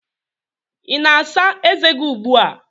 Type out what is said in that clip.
Ị na-asa ezé gị ugbu a?